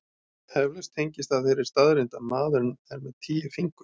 Eflaust tengist það þeirri staðreynd að maðurinn er með tíu fingur.